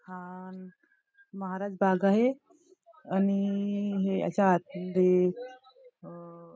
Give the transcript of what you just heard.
हान महाराज बाग आहे आणि याच्या आत मध्ये अ--